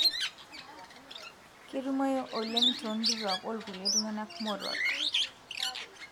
ketumoyu oleng tongituak olkulie tungana moruak.